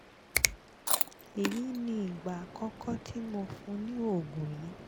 èyí ni ìgbà àkọ́kọ́ tí mo fún un ní oògùn yìí